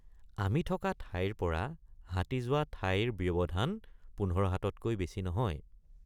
আমি থকা ঠাইৰপৰা হাতী যোৱা ঠাইৰ ব্যৱধান পোন্ধৰ হাততকৈ বেছি নহয়।